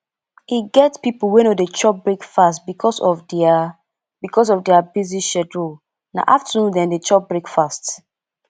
e get pipo wey no dey chop breakfast because of their because of their busy schedule na afternoon dem dey chop breakfast